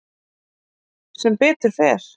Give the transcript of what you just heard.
Sem betur fer.